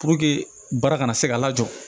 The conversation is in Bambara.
Puruke baara kana se ka lajɔ